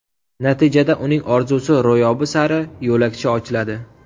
Natijada uning orzusi ro‘yobi sari yo‘lakcha ochiladi.